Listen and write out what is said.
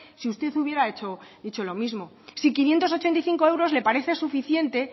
si usted hubiera hecho lo mismo si quinientos ochenta y cinco euros le parece suficiente